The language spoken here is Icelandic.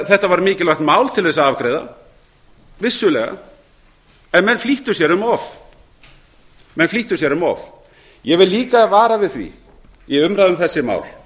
þetta var mikilvægt mál til þess að afgreiða vissulega en menn flýttu sér um of ég vil líka vara við því í umræðu um þessi mál